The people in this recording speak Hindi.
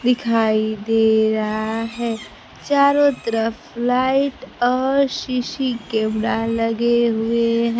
दिखाई दे रहा है चारों तरफ लाइट और सी_सी कैमरा लगे हुए हैं।